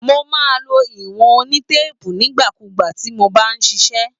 Mo máa ń lo ìwọ̀n onítéèpù nígbà kugbà tí mo bá ń ṣiṣẹ́.